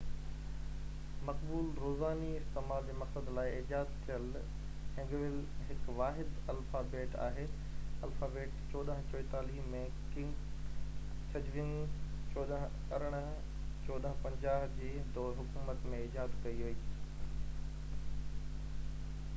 مقبول روزاني استعمال جي مقصد لاءِ ايجاد ٿيل هينگيول هڪ واحد الفابيٽ آهي. الفابيٽ 1444 ۾ ڪنگ سيجونگ 1418 – 1450 جي دور حڪومت ۾ ايجاد ڪئي وئي